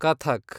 Kathak